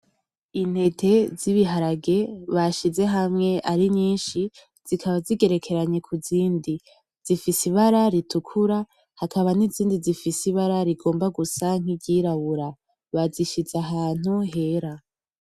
Intete zibiharage bashize hamwe arinyinshi zikaba zigerekeranye kuzindi ,zifise ibara ritukura hakaba nizindi zifise ibara rigomba gusa niryirabura , bazishize ahantu hera .